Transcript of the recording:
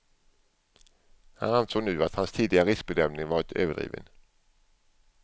Han ansåg nu att hans tidigare riskbedömning varit överdriven.